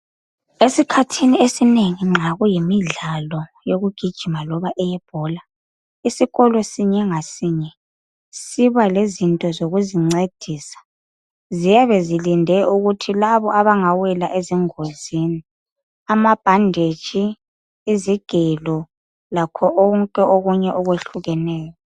Esikhathini esinengi nxa kuyimidlalo yokugijima kumbe eyebhola isikolo sinye ngasinye sibalezinto zokuzincedisa. Ziyabe zilinde ukuthi labo abangawela engozini. Kulama bhanditshi, izigelo lakho konke okunye okwehlukeneyo.